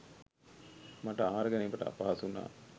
මට ආහාර ගැනීමට අපහසු වුණා.